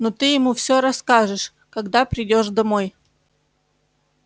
но ты ему все расскажешь когда придёшь домой